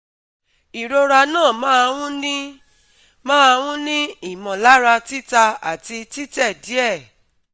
Ìrora na ma n ni ma n ni imolara tita ati tite die